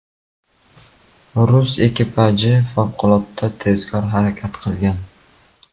Rus ekipaji favqulodda tezkor harakat qilgan.